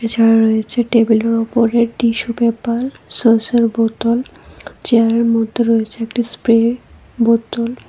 ছাড়া রয়েছে টেবিলের ওপরে টিস্যু পেপার সসের বোতল চেয়ারের মধ্যে রয়েছে একটি স্প্রে বোতল।